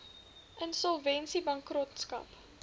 insolvensiebankrotskap